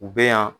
U bɛ yan